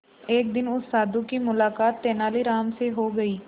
एक दिन उस साधु की मुलाकात तेनालीराम से हो गई